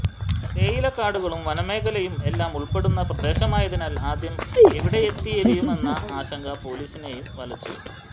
തേയിലക്കാടുകളും വനമേഖലയും എല്ലാം ഉൾപ്പെടുന്ന പ്രദേശമായതിനാൽ ആദ്യം എവിടെത്തിരയുമെന്ന ആശങ്ക പൊലീസിനെയും വലച്ചു